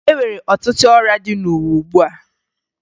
E nwere ọtụtụ ọrịa dị n'ụwa ugbua